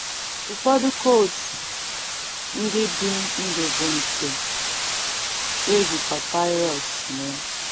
Ụfọdụ codes ndị dị ndụ bụ nke e ji papaịrọs mee.